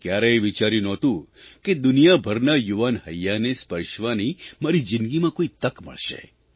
મેં કયારેય વિચાર્યું નહોતું કે દુનિયાભરનાં યુવાન હૈયાંને સ્પર્શવાની મારી જિંદગીમાં કોઇ તક મળશે